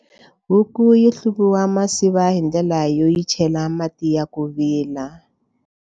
Huku yi hluvisiwa masiva hi ndlela yo yi chela mati ya ku vila.